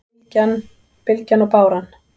Bylgjan og báran